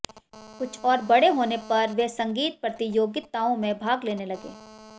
कुछ और बड़े होने पर वे संगीत प्रतियोगितओं में भाग लेने लगे